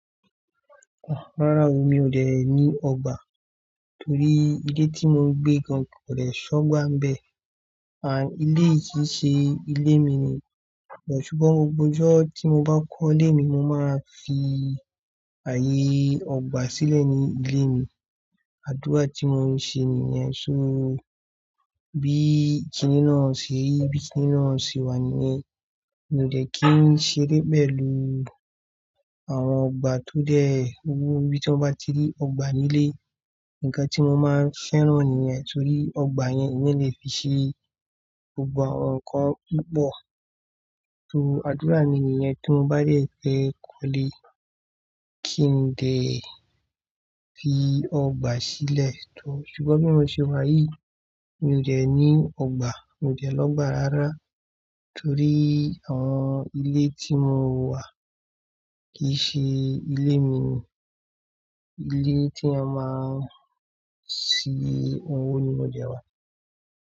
Rárá o, mi ò dẹ̀ ní ọgbà torí ilé tí mo gbé gan kò le ṣọgbà ń bẹ. À ilé yìí ṣe ilé mi ni, ṣùgbọ́n mo gbọ́jọ́ tí mo bá kọ́lé mi mo máa fi ààyè ọgbà sílẹ̀ ní ilé mi. Àdúrà tí mo ń ṣe nìyẹn ṣó bí kiní náà ṣe rí, bí kiní náà ṣe wà níyẹn. Mi ò dẹ̀ kí ń ṣe e bẹ́ẹ̀ lórí àwọn ọgbà tó dẹ̀ wúwú. Bí mo bá ti rí ọgbà nílé, nǹkan tí mo máa fẹ́ràn nìyẹn torí ọgbà yẹn ni mí lè fi ṣe gbogbo àwọn nǹkan púpọ̀. So àdúrà mi nìyẹn tí mo bá dẹ̀ fẹ́ kọ́lé kí n dẹ̀ fi ọgbà sílẹ̀. Torí ṣùgbọ́n bí mo ṣe wà yìí mi ò dẹ̀ ní ọgbà, mi ò dẹ̀ lọ́gbà rárá torí àwọn ilé tí mo wà kì í ṣe ilé mi ni. Ilé tí a máa ń sin owó ni mo de wà.